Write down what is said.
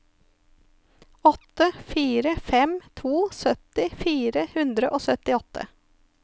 åtte fire fem to sytti fire hundre og syttiåtte